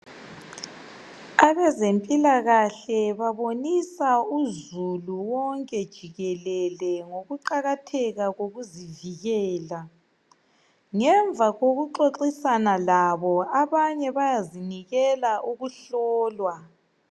Abezempilakhle babonisa uzulu wonke jikelele ngokuqakatheka kokuzivikela. Ngemva kokuxoxisana labo abanye bayazinikela ukuhlolwa.